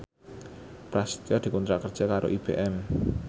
Prasetyo dikontrak kerja karo IBM